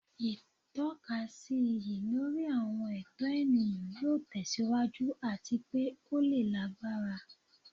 Itọkasi iyi lori awọn ẹtọ eniyan yoo tẹsiwaju ati pe o le lagbara